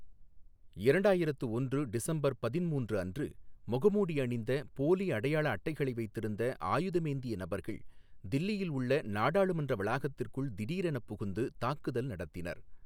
இரண்டாயிரத்து ஒன்று டிசம்பர் பதின்மூன்று அன்று, முகமூடி அணிந்த, போலி அடையாள அட்டைகளை வைத்திருந்த, ஆயுதமேந்திய நபர்கள் தில்லியில் உள்ள நாடாளுமன்ற வளாகத்திற்குள் திடீரெனப் புகுந்து தாக்குதல் நடத்தினர்.